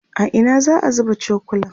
a Ina za'a zuba cokulan?